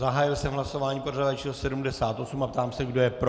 Zahájil jsem hlasování pořadové číslo 78 a ptám se, kdo je pro.